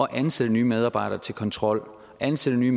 at ansætte nye medarbejdere til kontrol ansætte nye